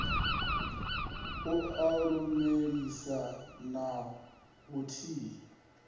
a u lumelisa na vhuthihi